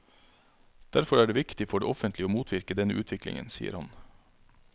Derfor er det viktig for det offentlige å motvirke denne utviklingen, sier han.